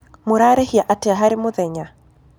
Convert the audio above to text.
Mũrarĩhĩa atĩa harĩ mũthenya?